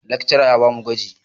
Lakcara ya ba mu gwaji.